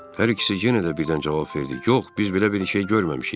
Hər ikisi yenə də birdən cavab verdi: yox, biz belə bir şey görməmişik.